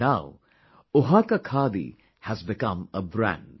And now Oaxaca khadi has become a brand